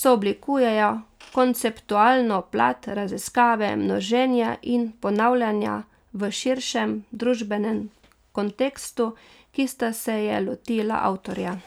sooblikujejo konceptualno plat raziskave množenja in ponavljanja v širšem družbenem kontekstu, ki sta se je lotila avtorja.